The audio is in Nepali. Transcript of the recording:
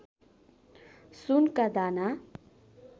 सुनका दाना